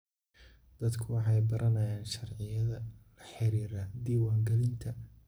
Dadku waxay baranayaan sharciyada la xiriira diiwaangelinta.